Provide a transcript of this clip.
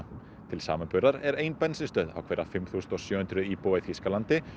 til samanburðar er ein bensínstöð á hverja fimm þúsund sjö hundruð íbúa í Þýskalandi